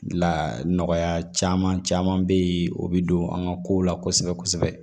La nɔgɔya caman caman be yen o be don an ga kow la kosɛbɛ kosɛbɛ